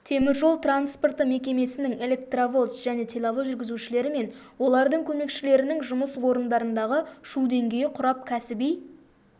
теміржол транспорты мекемесінің электровоз және тепловоз жүргізушілері мен олардың көмекшілерінің жұмыс орындарындағы шу деңгейі құрап кәсіби